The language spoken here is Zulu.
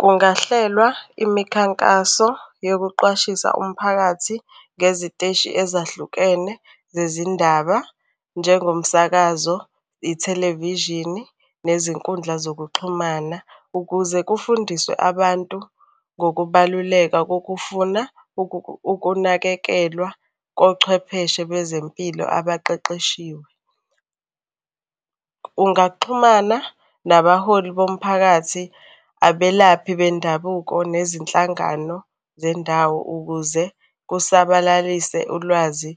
Kungahlelwa imikhankaso yokuqwashisa umphakathi ngeziteshi ezahlukene zezindaba njengomsakazo, ithelevishini, nezinkundla zokuxhumana ukuze kufundiswe abantu ngokubaluleka kokufuna ukunakekelwa kochwepheshe bezempilo abaqeqeshiwe. Ungaxhumana nabaholi bomphakathi, abelaphi bendabuko nezinhlangano zendawo ukuze kusabalalise ulwazi